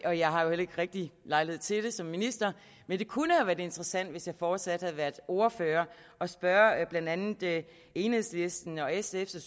og jeg har jo heller ikke rigtig lejlighed til det som minister men det kunne have været interessant hvis jeg fortsat havde været ordfører at spørge blandt andet enhedslistens og sf’s og